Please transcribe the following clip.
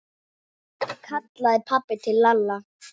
kallaði pabbi til Lalla.